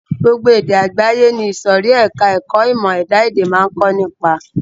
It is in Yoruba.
Gbogbo èdè àgbáyé ni ìsòrí ẹka ẹ̀kọ́ ìmọ̀ ẹ̀dá-èdè máa ń kọ́ nípa.